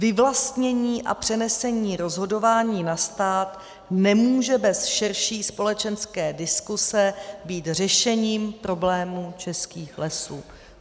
Vyvlastnění a přenesení rozhodování na stát nemůže bez širší společenské diskuze být řešením problémů českých lesů."